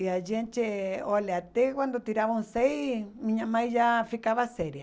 E a gente, olha, até quando tiravam seis, minha mãe já ficava séria.